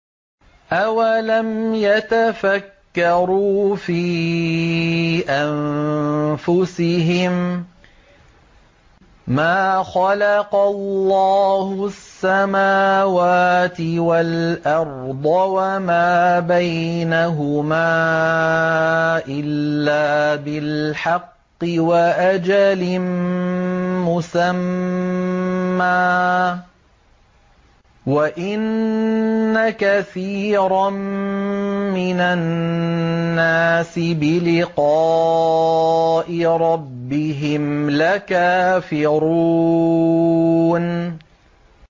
أَوَلَمْ يَتَفَكَّرُوا فِي أَنفُسِهِم ۗ مَّا خَلَقَ اللَّهُ السَّمَاوَاتِ وَالْأَرْضَ وَمَا بَيْنَهُمَا إِلَّا بِالْحَقِّ وَأَجَلٍ مُّسَمًّى ۗ وَإِنَّ كَثِيرًا مِّنَ النَّاسِ بِلِقَاءِ رَبِّهِمْ لَكَافِرُونَ